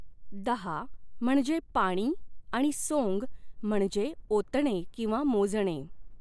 दाः म्हणजे पाणी आणि सोंग म्हणजे ओतणे किंवा मोजणे.